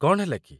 କ'ଣ ହେଲା କି?